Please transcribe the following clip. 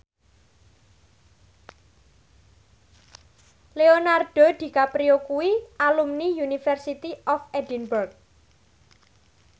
Leonardo DiCaprio kuwi alumni University of Edinburgh